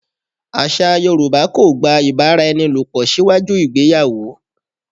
Àṣà Yorùbá kò gba ìbáraẹnilòpò síwájú ìgbéyàwó.